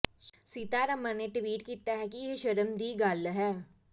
ਸੀਤਾਰਮਣ ਨੇ ਟਵੀਟ ਕੀਤਾ ਕਿ ਇਹ ਸ਼ਰਮ ਦੀ ਗੱਲ ਹੈ